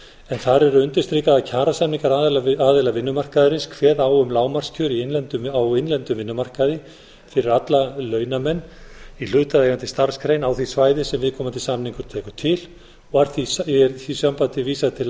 en þar er undirstrikað að kjarasamningar aðila vinnumarkaðarins kveða á um lágmarkskjör á innlendum vinnumarkaði fyrir alla launamenn í hlutaðeigandi starfsgrein á því svæði sem viðkomandi samningur tekur til og er í því sambandi vísað til laga